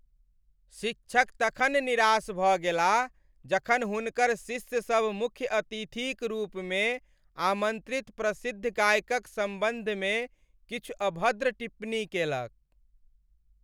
शिक्षक तखन निराश भऽ गेलाह जखन हुनकर शिष्यसभ मुख्य अतिथिक रूपमे आमन्त्रित प्रसिद्ध गायकक सम्बन्धमे किछु अभद्र टिप्पणी केलक।